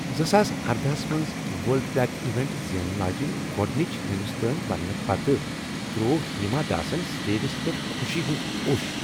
زٕ ساس اردَہس منٛز ورلڈ ٹریک ایونٹ زینن واجیٚنۍ گۄڑنچ ہندوستٲنۍ بننہٕ پتہٕ تروٚو ہیما داسن سٹیجس پؠٹھ خوشی ہُند اُوٚش